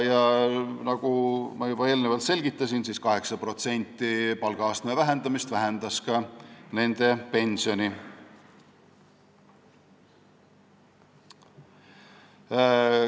Nagu ma juba eelnevalt selgitasin, 8%-line palgaastme vähendamine vähendas ka nende pensioni.